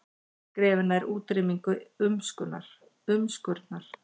Skrefi nær útrýmingu umskurnar